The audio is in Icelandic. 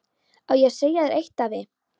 Á ég að segja þér eitt, afi?